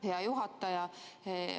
Hea juhataja!